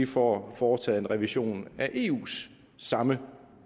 får foretaget en revision af eus samme